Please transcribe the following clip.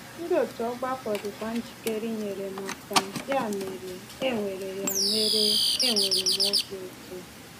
Ndị òtù ọgbakọ dịkwa njikere inyere m aka, ya mere, enwere ya mere, enwere m obi ụtọ.